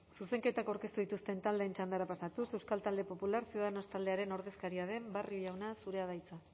zuzenketak aurkeztu dituzten taldeen txandara pasatuz euskal talde popularra ciudadanos taldearen ordezkaria den barrio jauna zurea da hitza